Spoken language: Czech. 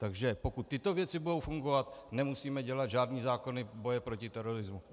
Takže pokud tyto věci budou fungovat, nemusíme dělat žádné zákony boje proti terorismu.